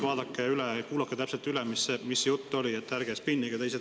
Vaadake ja kuulake täpselt üle, mis jutt oli, ärge spinnige!